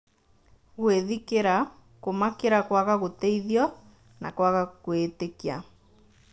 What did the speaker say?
Gwĩthikĩra , kũmakĩra kwaga gũteithio, na kwaga kwĩĩtĩkia